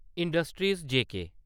industries जेके